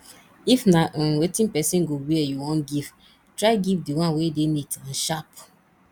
if na um wetin persin go wear you won give try give di one wey de neat and sharp